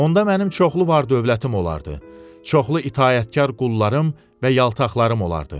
Onda mənim çoxlu var-dövlətim olardı, çoxlu itaətkar qullarım və yaltaqlarım olardı.